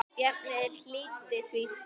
Bjarni hlýddi því strax.